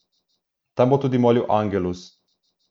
Tam bo tudi molil angelus.